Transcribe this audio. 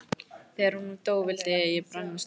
Þegar hún dó vildi ég brenna stólinn.